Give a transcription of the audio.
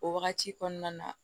O wagati kɔnɔna na